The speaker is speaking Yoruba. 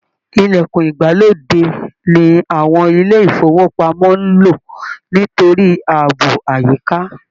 Ilẹ̀kùn ìgbàlódé ni àwọn ilé ifowopamọ n ló nítorí ààbò àyíká